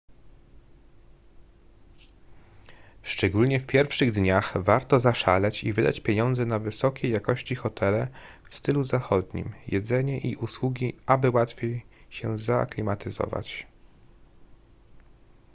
szczególnie w pierwszych dniach warto zaszaleć i wydać pieniądze na wysokiej jakości hotele w stylu zachodnim jedzenie i usługi aby łatwiej się zaaklimatyzować